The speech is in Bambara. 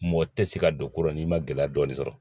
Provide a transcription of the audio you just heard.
Mɔgɔ tɛ se ka don ko rɔ n'i ma gɛlɛya dɔɔnin sɔrɔ